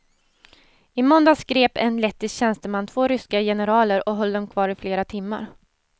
I måndags grep en lettisk tjänsteman två ryska generaler och höll dem kvar i flera timmar.